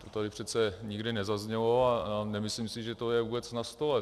To tady přece nikdy nezaznělo a nemyslím si, že to je vůbec na stole.